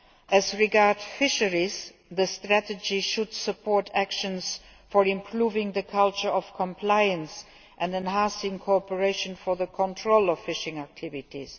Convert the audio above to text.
As regards fisheries, the strategy should support action to improve the culture of compliance and enhance cooperation on the control of fishing activities.